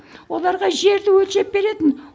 оларға жерді өлшеп беретін